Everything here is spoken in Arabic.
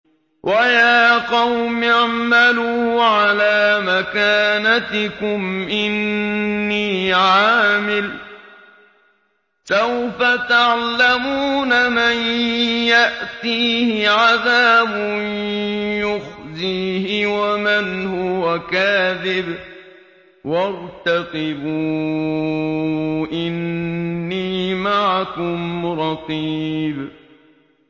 وَيَا قَوْمِ اعْمَلُوا عَلَىٰ مَكَانَتِكُمْ إِنِّي عَامِلٌ ۖ سَوْفَ تَعْلَمُونَ مَن يَأْتِيهِ عَذَابٌ يُخْزِيهِ وَمَنْ هُوَ كَاذِبٌ ۖ وَارْتَقِبُوا إِنِّي مَعَكُمْ رَقِيبٌ